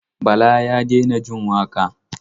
Bala ya daina jin waƙa.